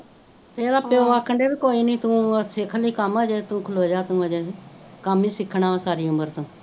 ਏਹਦਾ ਪੀਓ ਆਖਣ ਡੇਆ ਕੋਈ ਨੀ ਤੂੰ ਸਿਖਲੀ ਹਜੇ ਤੂੰ ਖਲੋਜਾ ਤੂੰ ਹਜੇ ਕਮ ਹੀ ਸਿੱਖਣਾ ਸਾਰੀ ਉਮਰ ਤੂੰ